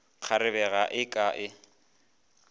kgarebe ga e ke e